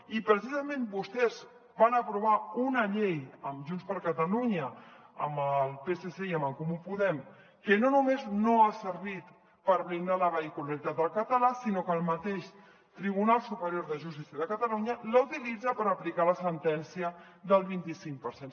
i precisament vostès van aprovar una llei amb junts per catalunya amb el psc i amb en comú podem que no només no ha servit per blindar la vehicularitat del català sinó que el mateix tribunal superior de justícia de catalunya la utilitza per aplicar la sentència del vint icinc per cent